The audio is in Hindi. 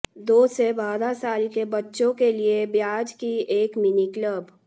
दो से बारह साल के बच्चों के लिए ब्याज की एक मिनी क्लब